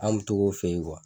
An bi tog'o fe yen kuwa